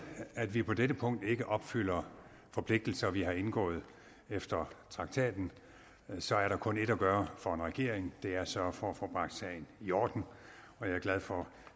at vi på dette punkt ikke opfylder forpligtelser vi har indgået efter traktaten så er der kun ét at gøre for en regering det er at sørge for at få bragt tingene i orden og jeg er glad for